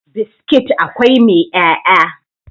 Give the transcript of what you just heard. biskit akwai mai 'ya'ya